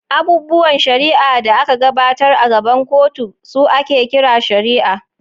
Abubuwan shari’a da aka gabatar a gaban kotu su ake kira shari’a.